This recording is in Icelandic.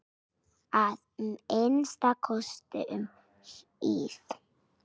Að minnsta kosti um hríð.